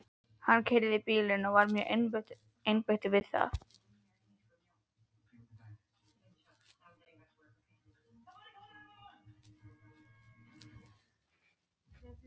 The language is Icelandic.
Hann keyrði bílinn og var mjög einbeittur við það.